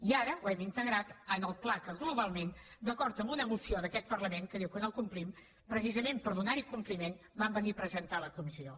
i ara ho hem integrat al pla que globalment d’acord amb una moció d’aquest parlament que diu que no complim precisament per donar hi compliment vam venir a presentar a la comissió